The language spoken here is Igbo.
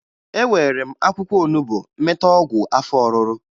Ewere m akwụkwọ onubo meta ọgwụ afọ ọrụrụ